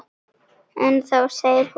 En þá segir hún